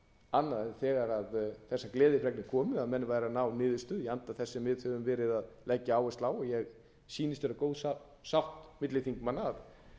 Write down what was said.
annað þegar þessar gleðifregnir komu að menn væru að ná niðurstöðu í anda þess sem við höfum verið að leggja áherslu á og mér sýnist vera góð sátt milli þingmanna að í